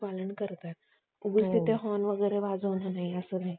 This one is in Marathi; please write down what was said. उगाच तिथं Horn वगैरे वाजवणार असं नाहीये